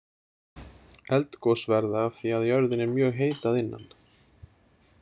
Eldgos verða af því að jörðin er mjög heit að innan.